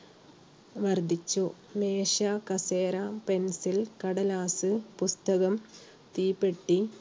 വർദ്ധിച്ചു. മേശ, കസേര, Pencil, കടലാസ്, പുസ്തകം, തീപ്പെട്ടി